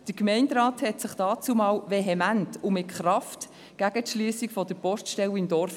Der Gemeinderat wehrte sich damals vehement und mit Kraft gegen die Schliessung der Poststelle im Dorf.